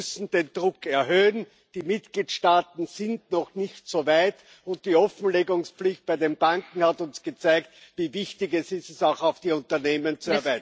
Wir müssen den Druck erhöhen, die Mitgliedstaaten sind noch nicht so weit, und die Offenlegungspflicht bei den Banken hat uns gezeigt, wie wichtig es ist, sie auch auf die Unternehmen zu erweitern.